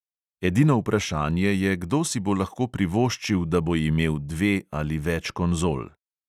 Edino vprašanje je, kdo si bo lahko privoščil, da bo imel dve ali več konzol.